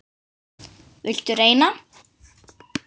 Viltu reyna?